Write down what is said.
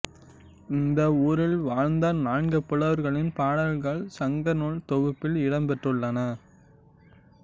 இந்த ஊரில் வாழ்ந்த நான்கு புலவர்களின் பாடல்கள் சங்கநூல் தொகுப்பில் இடம் பெற்றுள்ளன